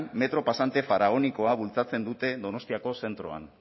metro pasante faraonikoa bultzatzen dute donostiako zentroan